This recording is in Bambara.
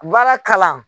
Baara kalan